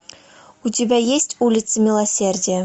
у тебя есть улица милосердия